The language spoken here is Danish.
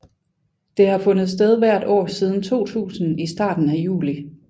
Det har fundet sted hvert år siden 2000 i starten af juli